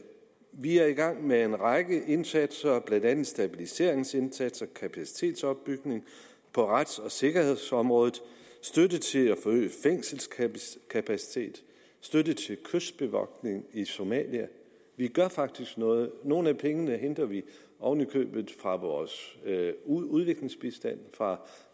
vi er i gang med en række indsatser blandt andet stabiliseringsindsatser kapacitetsopbygning på rets og sikkerhedsområdet støtte til at forøge fængselskapacitet støtte til kystbevogtning i somalia vi gør faktisk noget nogle af pengene henter vi oven i købet fra vores udviklingsbistand